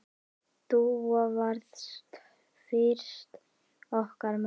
Dúa varð fyrst okkar mamma.